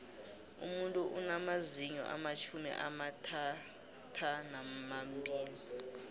umuntu unamazinyo amatjhumi amathathanambili